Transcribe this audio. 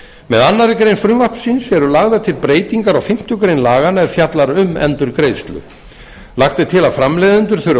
með annarri grein frumvarpsins eru lagðar til breytingar á fimmtu grein laganna er fjallar um endurgreiðslur lagt er til að framleiðendur þurfi að